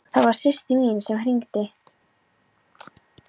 Það var systir mín sem hringdi.